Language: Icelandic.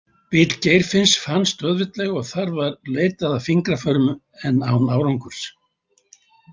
Bíll Geirfinns fannst auðveldlega og þar var leitað að fingraförum en án árangurs.